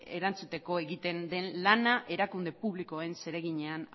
erantzuteko egiten den lana erakunde publikoen zereginean